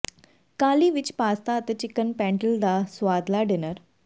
ਕਾਹਲੀ ਵਿਚ ਪਾਸਤਾ ਅਤੇ ਚਿਕਨ ਪੈਂਟਲ ਦਾ ਸੁਆਦਲਾ ਡਿਨਰ